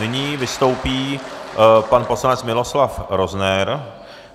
Nyní vystoupí pan poslanec Miloslav Rozner.